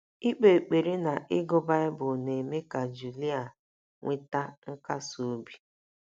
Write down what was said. Ikpe ekpere na ịgụ Baịbụl na - eme ka Julia nweta nkasi obi.